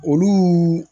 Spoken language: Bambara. Olu